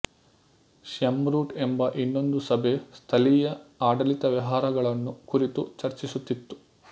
ಷ್ಯೆರ್ಮೂಟ್ ಎಂಬ ಇನ್ನೊಂದು ಸಭೆ ಸ್ಥಳೀಯ ಆಡಳಿತ ವ್ಯವಹಾರಗಳನ್ನು ಕುರಿತು ಚರ್ಚಿಸುತ್ತಿತ್ತು